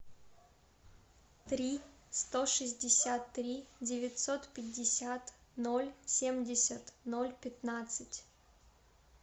три сто шестьдесят три девятьсот пятьдесят ноль семьдесят ноль пятнадцать